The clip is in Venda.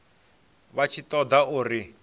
vha tshi ṱo ḓa uri